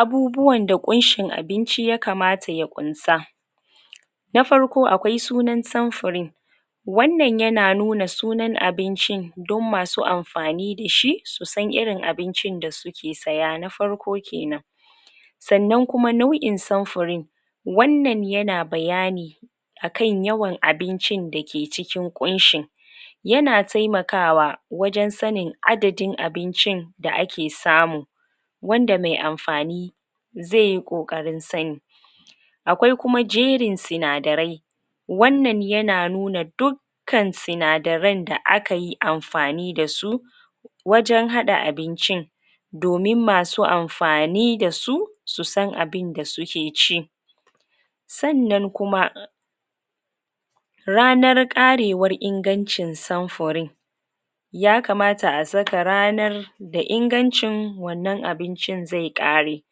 abubuwanda ƙunshin abinci ya kamata ya ƙunsa na farko akwai sunan samfuri wannan yana sunan abincin don masu amfani dashi susan irin abincin da suke saya na farko kenan sannan kuma nau'in samfurin wannan yana bayani akan yawan abincin dake cikin ƙunshin yana taimakawa wajen sanin adadin abincin da ake samu wanada mai amfani zaiyi ƙoƙarin sani akwai kuma jerin sinadarai wannan yana nuna duk kan sinadaran da akayi amfani dasu wajen haɗa abincin domin masu amfani dasu susan abinda suke ci sannan kuma ranar ƙarewar ingancin samfurin ya kamata a saka ranar da ingancin wannan abincin zai ƙare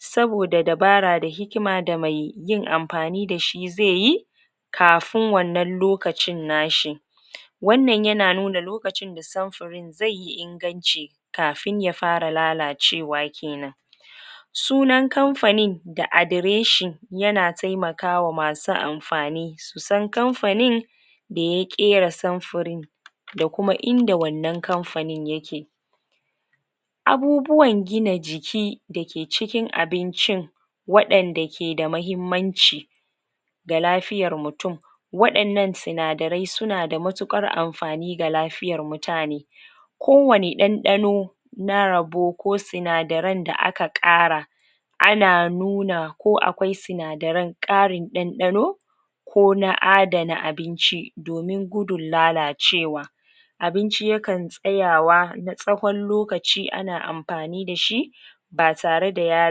saboda dabara da hikima da mai yin amfani dashi zai yi kafin wannan lokacin nashi wannan yana nuna lokacinda samfurin zaiyi inganci kafin ya fara lalacewa kenan sunan kamafanin da adreshi yana taimakawa masu amfani susan susan kamfanin daya ƙera samfurin da kuma inda wannan kamfanin yake abubuwan gina jiki dake cikin abincin waɗanda keda mahimmanci da lafiyar mutum waɗannan sinadarai sunada matuƙar amfani da lafiyar mutane kowanne ɗanɗano na rabo ko sinadaran da aka ƙara ana nuna ko akwai sinadaran ƙarin ɗanɗano ko na adana abinci domin gudun lalacewa abinci yakan tsayawa tsahon lokaci ana amfani dashi ba tareda ya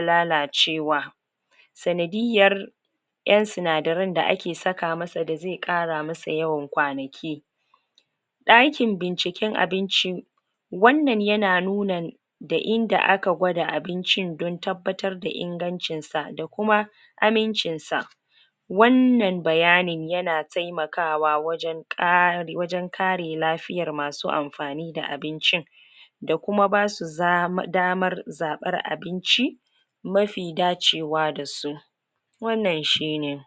lalacewa sandiyyar ƴan sinadaran da ake saka masa bazai ƙara masa yawan kwanaki ɗakin binkicen abinci wannan yana nuna da inda aka gwada abincin don tabbatar da ingancinsa da kuma amincinsa wannan bayanin yana taimakawa wajen kare, kare lafiyar masu amfani da abincin da kuma basu damar zaɓar abinci mafi dacewa dasu wannan shine